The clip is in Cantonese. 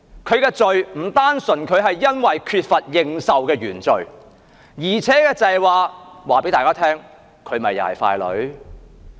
她的罪並不單純是因為她缺乏認受的原罪，而是也告訴大家，她同樣也是傀儡。